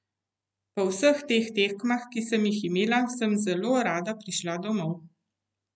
Po vseh teh tekmah, ki sem jih imela, sem zelo rada prišla domov.